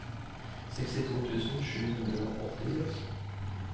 sekstito tusen sju hundre og åttiseks